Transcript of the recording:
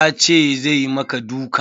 Ya ce zai maka duka?